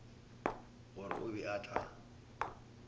gore o be a tla